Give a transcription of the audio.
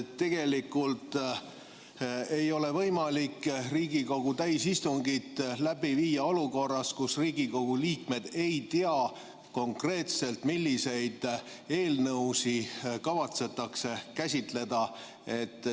Tegelikult ei ole võimalik Riigikogu täisistungit läbi viia olukorras, kus Riigikogu liikmed ei tea konkreetselt, milliseid eelnõusid kavatsetakse käsitleda.